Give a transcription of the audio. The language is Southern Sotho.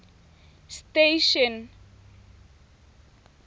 station